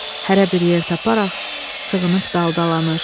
Hərə bir yer taparaq sığınıb daldalanır.